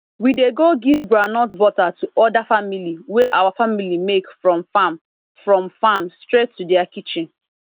we dey go give groundnut butter to oda family wey our family make from farm from farm straight to dia kitchen